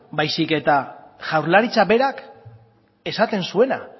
baizik eta jaurlaritzak berak esaten zuena